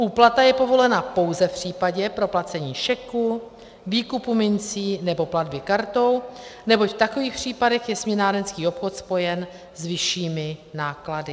Úplata je povolena pouze v případě proplacení šeku, výkupu mincí nebo platby kartou, neboť v takových případech je směnárenský obchod spojen s vyššími náklady.